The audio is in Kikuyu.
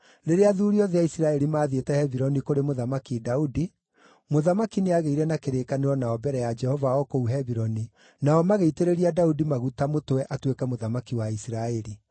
Rĩrĩa athuuri othe a Isiraeli maathiĩte Hebironi kũrĩ Mũthamaki Daudi, mũthamaki nĩagĩire na kĩrĩkanĩro nao mbere ya Jehova o kũu Hebironi, nao magĩitĩrĩria Daudi maguta mũtwe atuĩke mũthamaki wa Isiraeli.